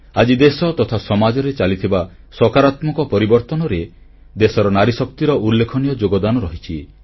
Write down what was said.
ଆଜି ଦେଶ ତଥା ସମାଜରେ ଚାଲିଥିବା ସକାରାତ୍ମକ ପରିବର୍ତ୍ତନରେ ଦେଶର ନାରୀଶକ୍ତିର ଉଲ୍ଲେଖନୀୟ ଯୋଗଦାନ ରହିଛି